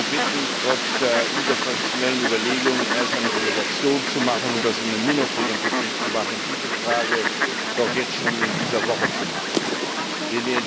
Ich möchte Sie bitten, trotz der interfraktionellen Überlegungen erst eine Delegation zu machen und das in der Mini Plenumtagung zu tun, diese Frage jedoch jetzt schon in dieser Woche zu behandeln.